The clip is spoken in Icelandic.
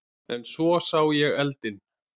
En svo sá ég eldinn.